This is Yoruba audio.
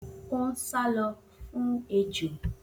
O n sálọ fún ejò